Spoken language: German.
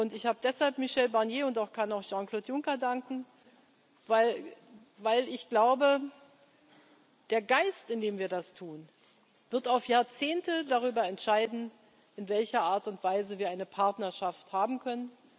Ich habe deshalb Michel Barnier gedankt und kann auch Jean Claude Juncker danken, weil ich glaube, der Geist, in dem wir das tun, wird auf Jahrzehnte darüber entscheiden, in welcher Art und Weise wir eine Partnerschaft haben können.